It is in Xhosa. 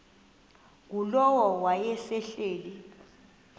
ngulowo wayesel ehleli